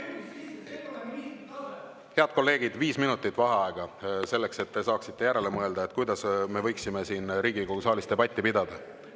Head kolleegid, viis minutit vaheaega, et te saaksite järele mõelda, kuidas me võiksime siin Riigikogu saalis debatti pidada.